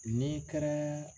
N'i kɛra